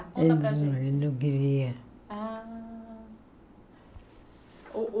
Ele não não queria. Ah o o